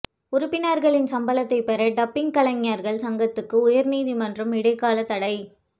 உறுப்பினர்களின் சம்பளத்தைப் பெற டப்பிங் கலைஞர்கள் சங்கத்துக்கு உயர் நீதிமன்றம் இடைக்கால தடை